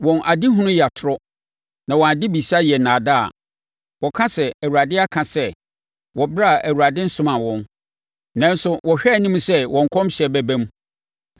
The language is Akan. Wɔn adehunu yɛ atorɔ, na wɔn adebisa yɛ nnaadaa. Wɔka sɛ, ‘ Awurade aka sɛ,’ wɔ ɛberɛ a Awurade nsomaa wɔn, nanso wɔhwɛ anim sɛ wɔn nkɔmhyɛ bɛba mu.